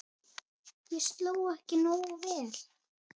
Ég sló ekki nógu vel.